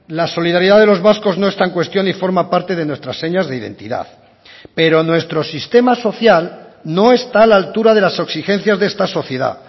la solidaridad de los vascos no está en cuestión y forma parte de nuestras señas de identidad pero nuestro sistema social no está a la altura de las exigencias de esta sociedad